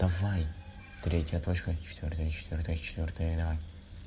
давай третья точка четвёртая четвёртая четвёртая давай